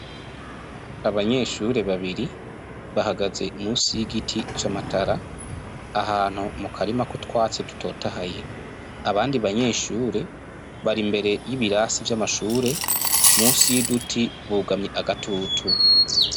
Abanyeshure babiri bahagaze musi y'igiti c'amatara ahantu mu karima k'utwatsi dutotahaye abandi banyeshure bari imbere y'ibirasi vy'amashure musi y'uduti bugamye agatutu.